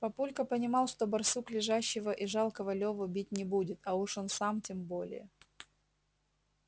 папулька понимал что барсук лежащего и жалкого леву бить не будет а уж он сам тем более